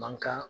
Mankan